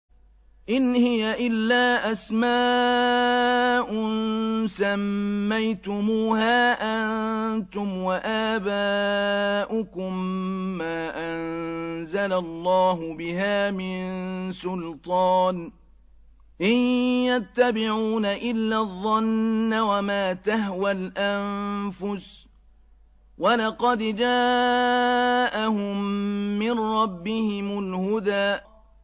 إِنْ هِيَ إِلَّا أَسْمَاءٌ سَمَّيْتُمُوهَا أَنتُمْ وَآبَاؤُكُم مَّا أَنزَلَ اللَّهُ بِهَا مِن سُلْطَانٍ ۚ إِن يَتَّبِعُونَ إِلَّا الظَّنَّ وَمَا تَهْوَى الْأَنفُسُ ۖ وَلَقَدْ جَاءَهُم مِّن رَّبِّهِمُ الْهُدَىٰ